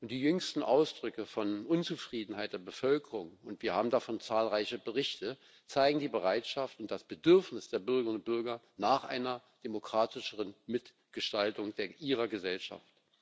Die jüngsten Äußerungen von Unzufriedenheit der Bevölkerung wir haben davon zahlreiche Berichte zeigen die Bereitschaft und das Bedürfnis der Bürgerinnen und Bürger nach einer demokratischeren Mitgestaltung ihrer Gesellschaft.